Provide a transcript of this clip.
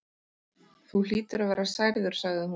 Þú hlýtur að vera særður sagði hún.